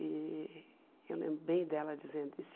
E eu lembro bem dela dizendo isso.